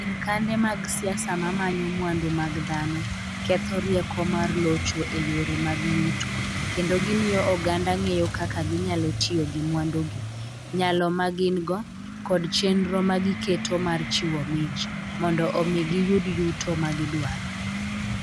Sirkande mag siasa ma manyo mwandu mag dhano ketho rieko mar locho e yore mag yuto, kendo gimiyo oganda ng'eyo kaka ginyalo tiyo gi mwandugi, nyalo ma gin - go, koda chenro ma giketo mar chiwo mich, mondo omi giyud yuto ma gidwaro.